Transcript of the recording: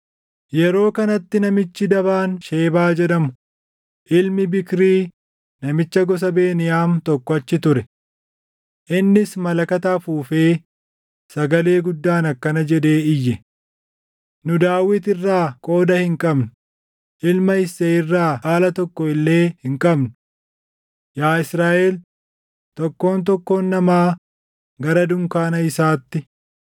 Yeroo kanatti namichi dabaan Shebaa jedhamu, ilmi Biikrii namicha gosa Beniyaam tokko achi ture. Innis malakata afuufee sagalee guddaan akkana jedhee iyye; “Nu Daawit irraa qooda hin qabnu; ilma Isseey irraa dhaala tokko illee hin qabnu! Yaa Israaʼel, tokkoon tokkoon namaa gara dunkaana isaatti!”